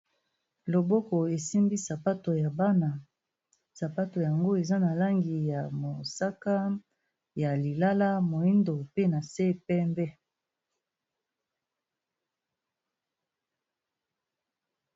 Loboko esimbi sapato ya bana. Sapato yango eza na langi ya mosaka, ya lilala, moyindo pe na se pembe.